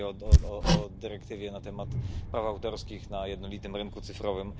Mówię o dyrektywie na temat praw autorskich na jednolitym rynku cyfrowym.